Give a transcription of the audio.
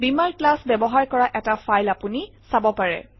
বীমাৰ ক্লাছ ব্যৱহাৰ কৰা এটা ফাইল আপুনি চাব পাৰে